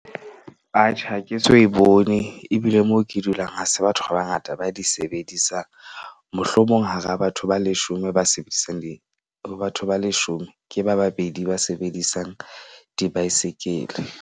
Atjhe, ha ke so e bone ebile moo ke dulang. Ha se batho ba bangata ba di sebedisang. Mohlomong hara batho ba leshome ba sebedisang di ho batho ba leshome, ke ba babedi ba sebedisang dibaesekele.